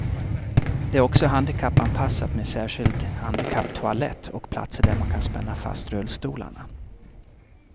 Det är också handikappanpassat med särskild handikapptoalett och platser där man kan spänna fast rullstolarna.